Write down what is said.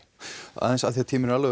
aðeins af því tíminn er alveg